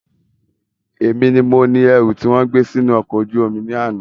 Èmi ni mo ni ẹrú tí wọn gbé sì inú ọkọ ojú omi ni àná